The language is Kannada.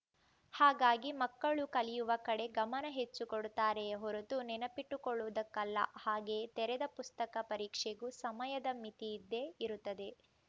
ಹಾಗಾಗಿ ಮಕ್ಕಳು ಕಲಿಯುವ ಕಡೆ ಗಮನ ಹೆಚ್ಚು ಕೊಡುತ್ತಾರೆಯೇ ಹೊರತು ನೆನಪಿಟ್ಟುಕೊಳ್ಳುವುದಕ್ಕಲ್ಲ ಹಾಗೆಯೇ ತೆರೆದ ಪುಸ್ತಕ ಪರೀಕ್ಷೆಗೂ ಸಮಯದ ಮಿತಿಯಿದ್ದೇ ಇರತ್ತದೆ